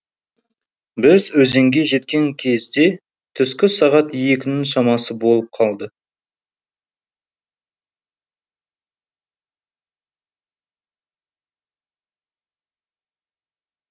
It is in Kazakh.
біз өзенге жеткен кезде түскі сағат екінің шамасы болып қалды